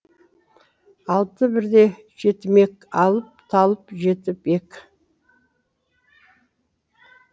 алты бірдей жетімек алып талып жетіп ек